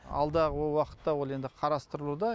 алдағы уақытта ол енді қарастырылуда